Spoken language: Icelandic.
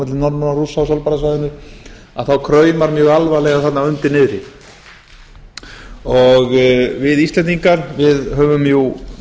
milli norðmanna og rússa á svalbarðasvæðinu þá kraumar mjög alvarlega þarna undir niðri við íslendingar höfum jú